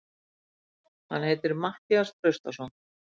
Hann heitir Matthías Traustason.